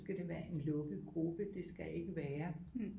Skal det være en lukket gruppe det skal ikke være